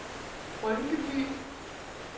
Rynkeby